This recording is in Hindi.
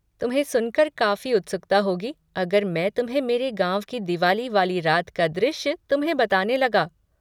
तुम्हें सुनकर काफ़ी उत्सुकता होगी अगर मैं तुम्हें मेरे गाँव की दिवाली वाली रात का दृश्य तुम्हें बताने लगा।